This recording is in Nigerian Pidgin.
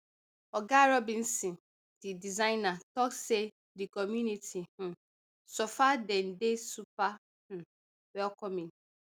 oga robinson di designer tok say di community um so far don dey super um welcoming